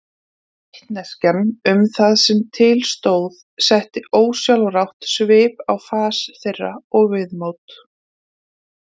Vitneskjan um það sem til stóð setti ósjálfrátt svip á fas þeirra og viðmót.